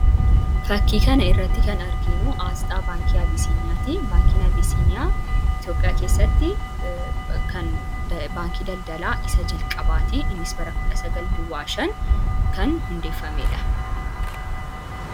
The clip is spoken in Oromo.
Fakkii kana irratti kan arginu, Aasxaa baankii absiiniyaati. Baankiin absiiniyaa Itoophiyaa keessatti baankii daldalaa isa jalqabaati. Innis bara kudha sagal duwwaa shan kan hundeeffamedha.